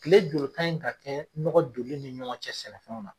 Kile joli kan in ka kɛ nɔgɔ donni ni ɲɔgɔn cɛ sɛnɛfɛnw na ?